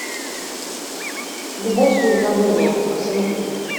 любовь с уведомлением посоветуй мне